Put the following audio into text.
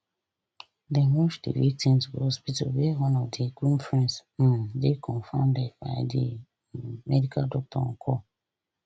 dem rush di victims go hospital where one of di groom friends um dey confirmed dead by di um medical doctor on call